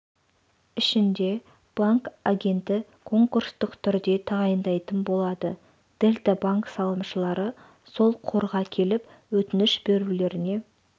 ішінде банк агенті конкурстық түрде тағайындайтын болады дельта банк салымшылары сол қорға келіп өтініш берулеріне